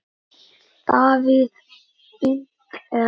Davíð Fínt er.